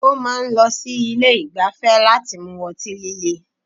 Ó máa n lọ sí Ilé ìgbafẹ́ láti mu ọtí líle